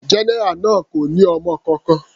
General náà kò ní ọmọ kankan.